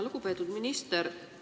Lugupeetud minister!